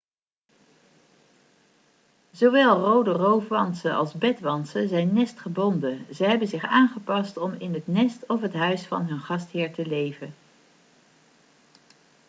zowel rode roofwantsen als bedwantsen zijn nestgebonden ze hebben zich aangepast om in het nest of het huis van hun gastheer te leven